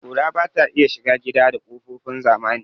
Ƙura bata iya shiga gida ta kokofin zamani